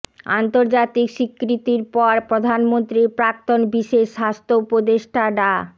আন্তর্জাতিক স্বীকৃতির পর প্রধানমন্ত্রীর প্রাক্তন বিশেষ স্বাস্থ্য উপদেষ্টা ডা